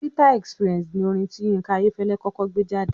"Bitter experience" ni orin tí Yínká Ayẹ́fẹ́lẹ́ kọ́kọ́ gbé jáde